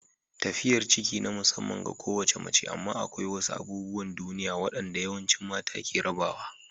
Tafiyar ciki na musamman ga kowace mace amma akwai wasu abubuwan duniya waɗanda yawancin mata ke rabawa.